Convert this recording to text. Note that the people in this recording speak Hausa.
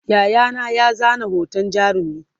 Yayana ya zana hoton jarumin